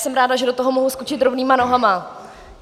Jsem ráda, že do toho mohu skočit rovnýma nohama.